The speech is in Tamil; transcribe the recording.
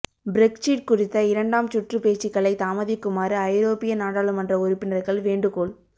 பிரெக்சிற் குறித்த இரண்டாம் சுற்று பேச்சுக்களை தாமதிக்குமாறு ஐரோப்பிய நாடாளுமன்ற உறுப்பினர்கள் வேண்டுகோள்